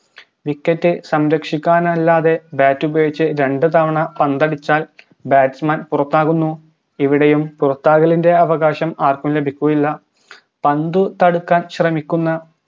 wicket സംരക്ഷിക്കാനല്ലാതെ bat ഉപയോഗിച്ച് രണ്ട് തവണ പന്തടിച്ചാൽ batsman പുറത്താകുന്നു ഇവുടെയും പുറത്താകലിൻറെ അവകാശം ആർക്കും ലഭിക്കുകയില്ല